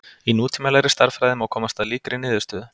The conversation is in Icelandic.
Í nútímalegri stærðfræði má komast að líkri niðurstöðu.